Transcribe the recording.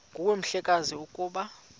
nguwe mhlekazi ukuba